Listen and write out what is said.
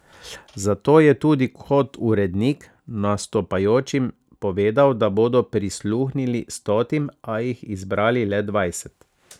Zato je tudi kot urednik nastopajočim povedal, da bodo prisluhnili stotim, a jih izbrali le dvajset.